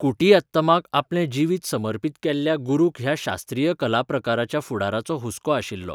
कुटियात्तमाक आपलें जिवीत समर्पीत केल्ल्या गुरूक ह्या शास्त्रीय कलाप्रकाराच्या फुडाराचो हुस्को आशिल्लो.